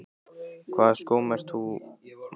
Í hvaða skóm ert þú, Magga?